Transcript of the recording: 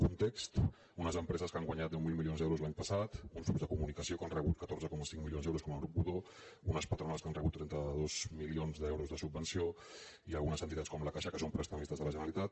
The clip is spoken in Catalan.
context unes empreses que han guanyat deu mil milions d’euros l’any passat uns grups de comunicació que han rebut catorze coma cinc milions d’euros com el grup godó unes patronals que han rebut trenta dos milions d’euros de subvenció i algunes entitats com la caixa que són prestadors de la generalitat